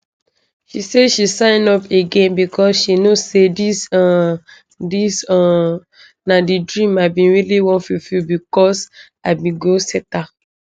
she say she sign up again becos she know say dis um dis um na di dream i really bin wan fulfil becos i be goal setter